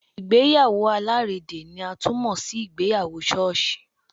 Ìgbéyàwó alárédè ni a tún mọ sí ìgbéyàwó ṣọ́ọ̀ṣì.